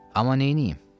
Amma neyniyim?